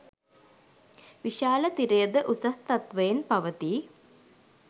විශාල තිරය ද උසස් තත්වයෙන් පවතී.